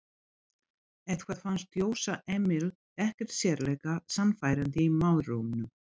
Eitthvað fannst Jósa Emil ekkert sérlega sannfærandi í málrómnum.